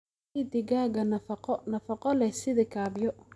Sii digaagga nafaqo nafaqo leh sida kaabyo.